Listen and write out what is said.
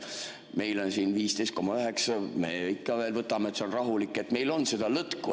Meil on siin 15,9% ja me ikka veel võtame, et see on rahulik, meil on seda lõtku.